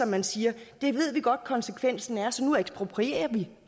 man siger det ved vi godt at konsekvensen er så nu eksproprierer vi